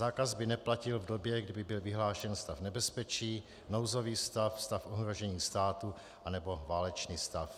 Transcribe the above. Zákaz by neplatil v době, kdy byl vyhlášen stav nebezpečí, nouzový stav, stav ohrožení státu nebo válečný stav.